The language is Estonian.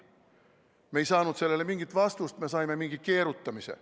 Me ei saanud sellele mingit vastust, me saime mingi keerutamise.